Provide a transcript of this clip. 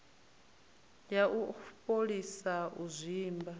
ya u fholisa u zwimba